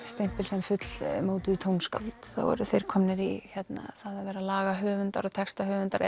stimpil sem fullmótuð tónskáld þá eru þeir komnir í það að vera lagahöfundar og textahöfundar